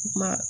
Kuma